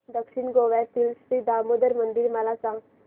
दक्षिण गोव्यातील श्री दामोदर मंदिर मला सांग